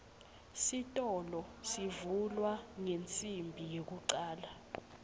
sitolo sivulwa ngensimbi yekucale